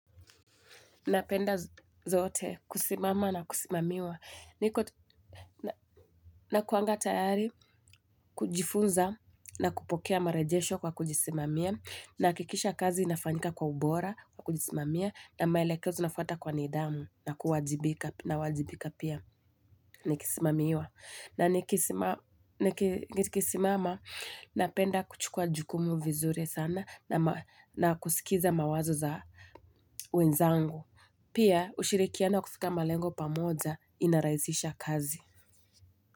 Napenda zote kusimama na kusimamiwa. Nakuanga tayari kujifunza na kupokea marejesho kwa kujisimamia. Nahakikisha kazi inafanyika kwa ubora kwa kujisimamia na maelekezo nafata kwa nidhamu na kuwajibika nawajibika pia nikisimamiwa. Na nikisimama napenda kuchukua jukumu vizuri sana na kusikiza mawazo za wenzangu. Pia ushirikiana kufika malengo pamoja inaraisisha kazi.